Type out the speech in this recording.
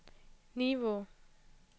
Nivå